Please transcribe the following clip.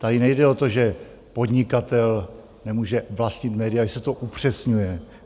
Tady nejde o to, že podnikatel nemůže vlastnit média, že se to upřesňuje.